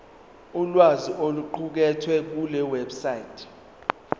ulwazi oluqukethwe kulewebsite